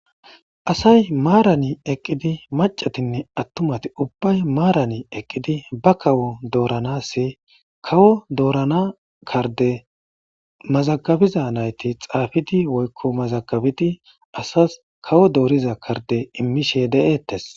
asay maarani eqqidi macatinne attumati ubbay maarani eqqidi ba kawo dooranasi kawo doorana karde mazagabiza nayti xaafidi woykko mazagabidi asas kawo dooriza karde immishe de7eettes